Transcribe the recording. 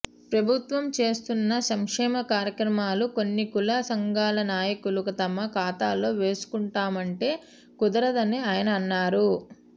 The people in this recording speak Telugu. ప్రభుత్వం చేస్తున్న సంక్షేమ కార్యక్రమాలు కొన్ని కుల సంఘాల నాయకులు తమ ఖాతాలో వేసుకుంటామంటే కుదరదని ఆయన అన్నారు